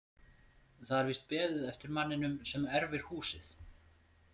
Það er víst beðið eftir manninum sem erfir húsið.